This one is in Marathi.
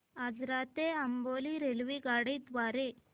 आजरा ते अंबोली रेल्वेगाडी द्वारे